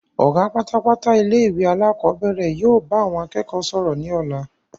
Ọ̀gá pátápátá ilé ìwé alakọ̀bẹ́ẹ́rẹ̀ yìí ó bá àwọn akẹ́kọ̀ọ́ sọ̀rọ̀ ni ọ̀la.